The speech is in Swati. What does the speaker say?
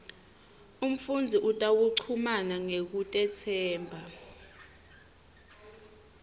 umfundzi utawuchumana ngekutetsemba